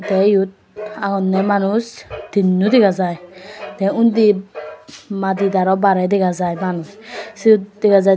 tey yot agonney manuj tinno dega jai tey undi madid aro barey dega jai manuj siyot dega jai.